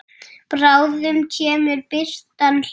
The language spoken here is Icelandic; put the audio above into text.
Bráðum kemur birtan hlý.